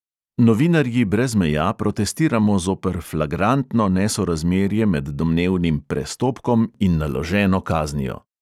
Novinarji brez meja protestiramo zoper flagrantno nesorazmerje med domnevnim "prestopkom" in naloženo kaznijo.